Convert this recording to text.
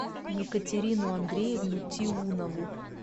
екатерину андреевну тиунову